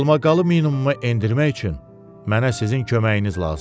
Qalmaqalı minimuma endirmək üçün mənə sizin köməyiniz lazımdır.